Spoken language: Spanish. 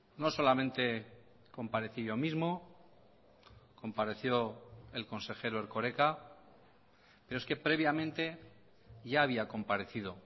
no solamente comparecí yo mismo compareció el consejero erkoreka pero es que previamente ya había comparecido